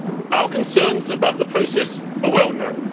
Our concerns about the process are well known.